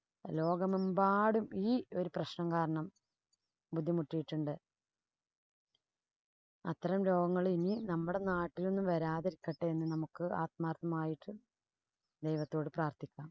ലോകമെമ്പാടും ഈ ഒരു പ്രശ്നം കാരണം ബുദ്ധിമുട്ടീട്ടുണ്ട്. അത്തരം രോഗങ്ങള്‍ ഇനീ നമ്മുടെ നാട്ടിലൊന്നും വരാതിരിക്കട്ടെ എന്ന് നമുക്ക് ആത്മാര്‍ത്ഥമായിട്ട് ദൈവത്തോട് പ്രാര്‍ത്ഥിക്കാം.